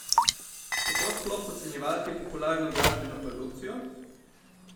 Kako sploh ocenjevati popularno glasbeno produkcijo?